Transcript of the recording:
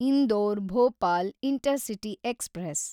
Indore Bhopal intercity express